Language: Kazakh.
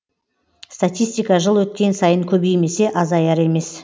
статистика жыл өткен сайын көбеймесе азаяр емес